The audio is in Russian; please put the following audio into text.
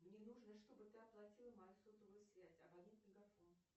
мне нужно чтобы ты оплатила мою сотовую связь абонент мегафон